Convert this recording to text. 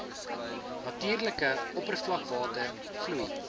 natuurlike oppervlakwater vloei